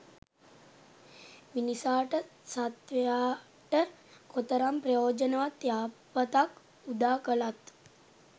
මිනිසාට සත්වයාට කොතරම් ප්‍රයෝජනවත් යහපතක් උදා කළත්